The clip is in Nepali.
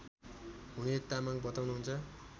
हुने तामाङ बताउनुहुन्छ